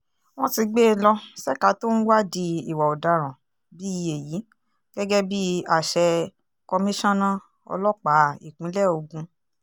wọ́n ti gbé e lọ ṣèkà tó ń wádìí ìwà ọ̀daràn bíi èyí gẹ́gẹ́ bíi àṣẹ kọmíṣánná ọlọ́pàá ìpínlẹ̀ ogun